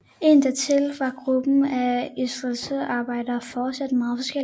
Indadtil var gruppen af industriarbejdere fortsat meget forskellige